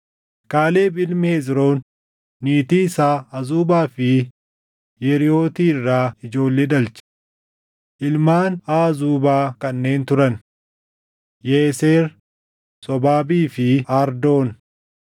Kaaleb ilmi Hezroon niitii isaa Azuubaa fi Yeriʼooti irraa ijoollee dhalche. Ilmaan Aazubaa kanneen turan: Yeeser, Sobaabii fi Ardoon.